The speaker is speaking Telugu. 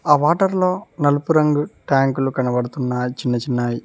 ఆ వాటర్ లో నలుపు రంగు ట్యాంకులు కనబడుతున్నయి చిన్నచిన్నవి.